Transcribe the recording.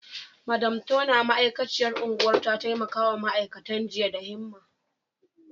Madam Turner, ma’aikaciyar unguwar, ta taimaka wa ma’aikatan jinya da himma.